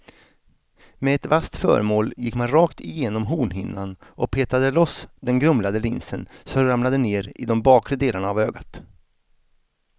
Med ett vasst föremål gick man rakt igenom hornhinnan och petade loss den grumlade linsen som ramlade ner i de bakre delarna av ögat.